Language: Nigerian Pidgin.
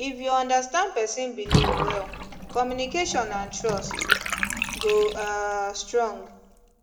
if you understand person belief well communication and trust go um strong